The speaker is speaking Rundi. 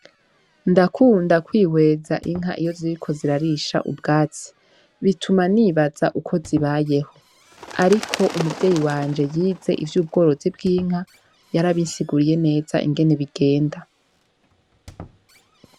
Ndakunda kwiheza inka iyo ziriko zirarisha ubwatsi bituma nibaza uko zibayeho ariko umuvyeyi wanje yize ivy'ubworozi bwinka yarabinsiguriye neza ingene bigenda.